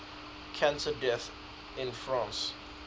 cancer deaths in france